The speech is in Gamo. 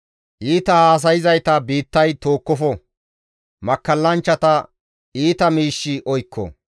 Iita haasayzayta biittay tookkofo; makkallanchchata iita miishshi oykko.